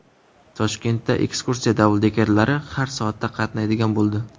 Toshkentda ekskursiya dabldekerlari har soatda qatnaydigan bo‘ldi.